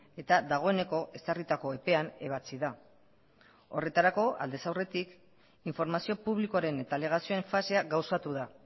eta dagoeneko ezarritako epean ebatsi da horretarako aldez aurretik informazio publikoaren eta alegazioen fasea gauzatu da